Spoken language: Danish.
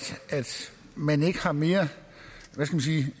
man ikke har mere